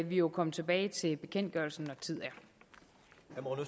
vi jo komme tilbage til bekendtgørelsen når